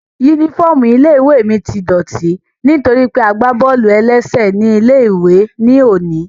Yúnífọ́ọ̀mù ilé-ìwé mi tí dọ̀ọ̀tí nítorí pé a gbá bọ́ọ̀lù-ẹlẹ́sẹ̀ ní ilé-ìwé ní òní